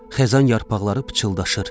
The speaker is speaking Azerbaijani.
Xəzan yarpaqları pıçıldaşır.